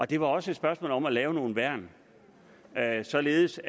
det var også et spørgsmål om at lave nogle værn således